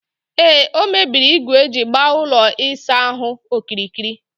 Ee, o mebiri igu eji gbaa ụlọ ịsaahụ okirikiri